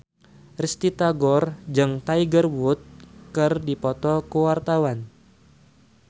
Risty Tagor jeung Tiger Wood keur dipoto ku wartawan